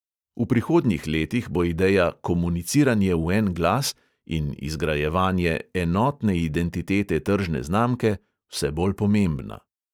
V prihodnjih letih bo ideja "komuniciranje v en glas" in izgrajevanje "enotne identitete tržne znamke" vse bolj pomembna.